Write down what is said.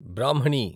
బ్రాహ్మణి